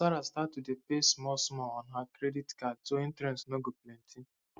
sarah start to dey pay smallsmall on her credit card so interest no go too plenty